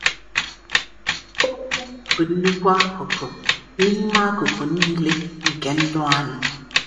Okwu bụ nnukwu akụkụ n’ime akụkụ niile nke ndụ anyị.